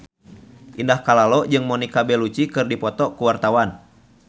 Indah Kalalo jeung Monica Belluci keur dipoto ku wartawan